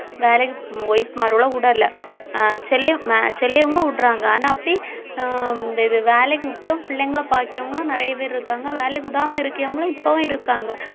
வேலைக்கு wife மார்களை விடலை சிலையு~ அஹ் சிலையுங்க விடுறாங்க ஆனா அப்படி அஹ் இந்த இது வேலைக்கு விட்டும் பிள்ளைங்களை பாக்கியவங்களும் நிறைய பேர் இருக்காங்க வேலைக்கு விடாம இருக்கவங்களும் இப்பவும் இருக்காங்க